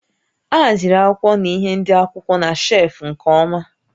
A haziri akwụkwọ na ihé ndị akwụkwọ na shelfụ́ nke ọma